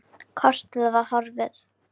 Kortið var horfið!